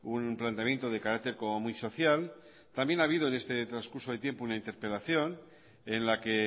un planteamiento de carácter como muy social también ha habido en este transcurso de tiempo una interpelación en la que